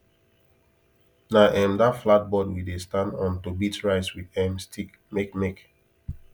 na um that flat board we dey stand on to beat rice with um stick make make